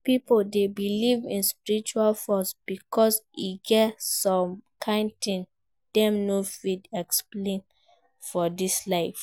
Pipo de believe in spiritual force because e get some kind things dem no fit explain for dis life